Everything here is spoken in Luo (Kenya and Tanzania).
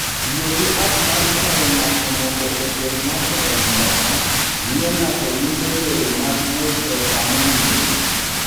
Tiyo gi app mar kwayo ng'ato mondo oter ng'ato e mtoka miyo ng'ato yudo yore mag wuoth e sa mowinjore.